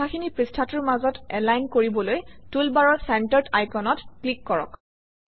কথাখিনি পৃষ্ঠাটোৰ মাজত এলাইন কৰিবলৈ টুলবাৰৰ চেণ্টাৰ্ড আইকনত ক্লিক কৰক